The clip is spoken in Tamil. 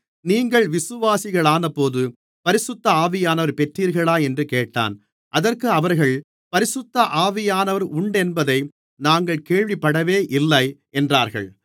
நீங்கள் விசுவாசிகளானபோது பரிசுத்த ஆவியானவரைப் பெற்றீர்களா என்று கேட்டான் அதற்கு அவர்கள் பரிசுத்த ஆவியானவர் உண்டென்பதை நாங்கள் கேள்விப்படவே இல்லை என்றார்கள்